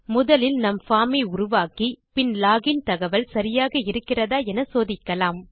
முதலில் நம் பார்ம் ஐ உருவாக்கி பின் லோகின் தகவல் சரியாக இருக்கிறதா என சோதிக்கலாம்